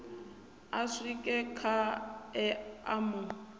a swike khae a mu